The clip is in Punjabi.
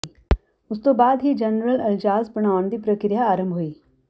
ਉਸ ਤੋਂ ਬਾਅਦ ਹੀ ਜਨਰਲ ਅਜਲਾਸ ਬੁਲਾਉਣ ਦੀ ਪ੍ਰੀਕਿਰਿਆ ਆਰੰਭ ਹੋਈ